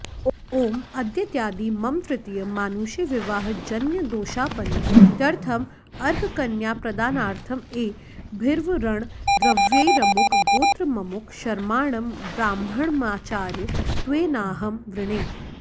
ॐ अद्येत्यादि मम तृतीय मानुषीविवाहजन्यदोषापनुत्यर्थं अर्ककन्याप्रदानार्थं एभिर्वरणद्रव्यैरमुकगोत्रममुक शर्माणं ब्राह्मणमाचार्यत्वेनाहं वृणे